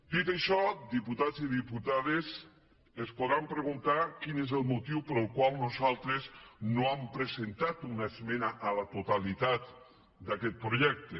dit això diputats i diputades es podran preguntar quin és el motiu pel qual nosaltres no hem presentat una esmena a la totalitat d’aquest projecte